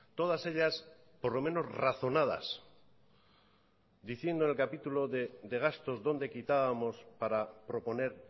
todas ellas por lo menos razonadas diciendo en el capítulo de gastos dónde quitábamos para proponer